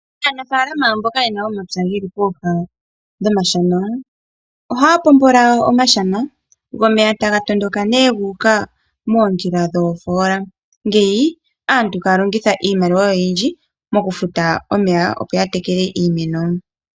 Aanafaalama mboka yena omapya geli pooha nomashana, ohaya pombola omashana go omeya taga tondondoka ne guuka moondjila dhoofoola, ngeyi aantu kaya longitha iimaliwa oyindji mokufuta omeya opo yatekele iimeno.